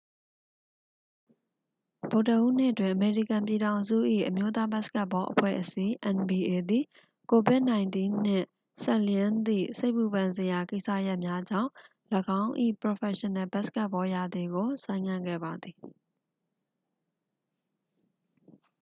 ဗုဒ္ဓဟူးနေ့တွင် အမေရိကန်ပြည်ထောင်စု၏ အမျိုးသားဘတ်စကတ်ဘောအဖွဲ့အစည်း nba သည် covid-၁၉ နှင့်စပ်လျဉ်းသည့် စိတ်ပူပန်စရာကိစ္စရပ်များကြောင့် ၎င်း၏ ပရော်ဖက်ရှင်နယ်ဘတ်စကတ်ဘောရာသီကို ဆိုင်းငံ့ခဲ့ပါသည်။